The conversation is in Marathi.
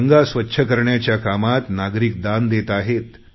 गंगा स्वच्छ करण्याच्या कामात नागरिक दान देत आहेत